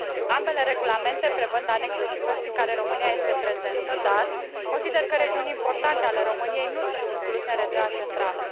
Ambele regulamente prevăd anexe și hărți în care România este prezentă, dar consider că regiuni importante ale României nu sunt incluse în rețeaua centrală.